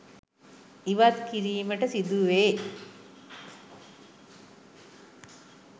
ඉවත් කිරීමට සිදු වේ